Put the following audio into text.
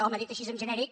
home dit així en genèric